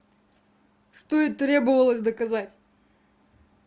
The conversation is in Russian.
что и требовалось доказать